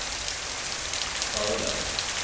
Hölö